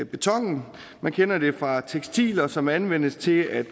betonen vi kender det fra tekstiler som anvendes til at